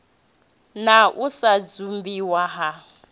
na u sa dzumbiwa ha